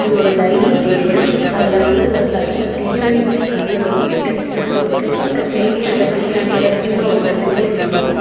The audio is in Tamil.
இது ஒரு டைனிங் டேபிள் அதுல வந்து ஒரு தட்டுல பிரியாணி வச்சிருக்காங்க அதுல ஒரு சிக்கன் பீஸ்சு இருக்கு பக்கத்திலேயே இந்த பிரியாணி ஓட கிண்ணம் இருக்கு வெண்கல கிண்ணொ.